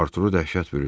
Arturu dəhşət bürüdü.